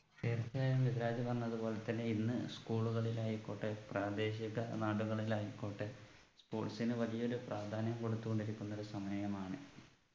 എനിക്ക് മിദിലാജ് പറഞ്ഞത് പോലെ തന്നെ ഇന്ന് school കളിലായിക്കോട്ടെ പ്രാദേശിക നാടുകളിൽ ആയിക്കോട്ടെ sports നു വലിയൊരു പ്രാധാന്യം കൊടുത്തു കൊണ്ടിരിക്കുന്നൊരു സമയമാണ്